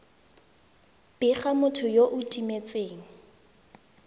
bega motho yo o timetseng